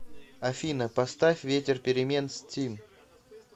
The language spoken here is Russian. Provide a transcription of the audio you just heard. афина поставь ветер перемен стим